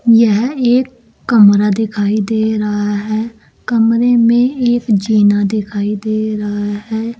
यह एक कमरा दिखाई दे रहा है कमरे में एक जीना दिखाई दे रहा है।